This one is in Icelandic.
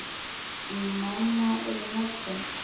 Manna í morgun.